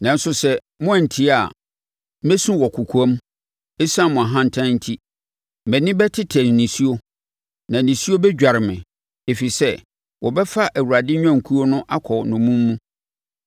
Nanso sɛ moantie a, mɛsu wɔ kɔkoam ɛsiane mo ahantan nti; mʼani bɛtetɛ nisuo, na nisuo adware me, ɛfiri sɛ, wɔbɛfa Awurade nnwankuo no akɔ nnommum mu.